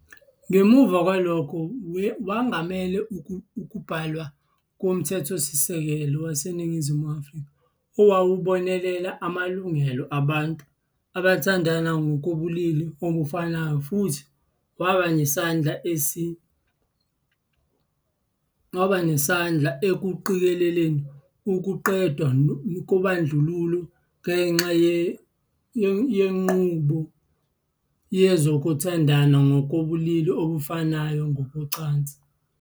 Ngemuva kwalokho wangamela ukubhalwa koMthethosisekelo waseNingizimu Afrika owawubonelela amalungelo abantu abathandana ngokobulili obufanayo futhi waba nesandla ekuqikeleleni ukuqedwa kobandlululo ngenxa yenqubo yezokuthandana ngokobulili obufanayo ngokocansi.